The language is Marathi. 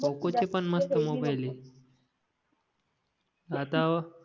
पोकॉ चे पण मस्त मोबाईल आहे आता